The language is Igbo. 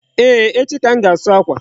Eeh, echi ka m ga-asu akwa.